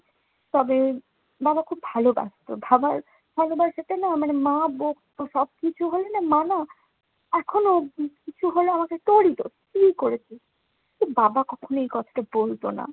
তবে বাবা খুব ভালোবাসত, বাবার ভালোবাসাটা না মানে মা বকতো সবকিছু হইলে মা না এখনো কিছু হলে আমাকে তোরই দোষ, তুই করেছিস। তো বাবা কখনো এ কথাটা বলতো না।